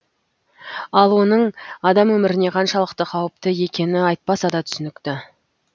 ал оның адам өміріне қаншалықты қауіпті екені айтпаса да түсінікті